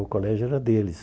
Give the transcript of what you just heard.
O colégio era deles.